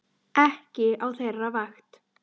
Ekki á þeirra vakt.